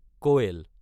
কৈল